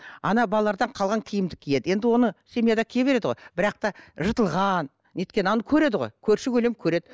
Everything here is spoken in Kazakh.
ана балалардан қалған киімді киеді енді оны семьяда кие береді ғой бірақ та жыртылған неткен көреді ғой көрші көлең көреді